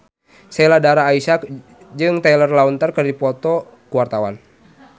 Sheila Dara Aisha jeung Taylor Lautner keur dipoto ku wartawan